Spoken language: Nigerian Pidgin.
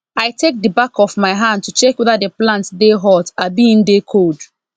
i take the back of my hand to check whether the plant dey hot abi e dey cold